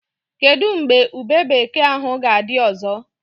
Kedụ mgbe ube bekee ahụ ga-adị ọzọ?